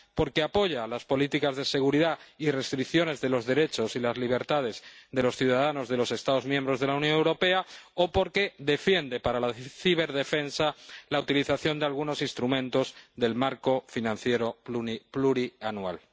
porque apoya las políticas de seguridad y restricciones de los derechos y las libertades de los ciudadanos de los Estados miembros de la Unión Europea, o porque defiende, para la ciberdefensa, la utilización de algunos instrumentos del marco financiero plurianual.